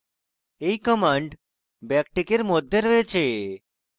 এই command ব্যাকটিকের মধ্যে রয়েছে